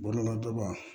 Bɔgɔdaga